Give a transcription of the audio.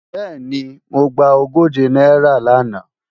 Bẹ́ẹ̀ni, èmi mo gba ogóje náírà làná